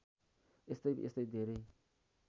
यस्तै यस्तै धेरै